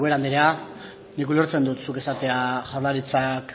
ubera andrea nik ulertzen dut esatea jaurlaritzak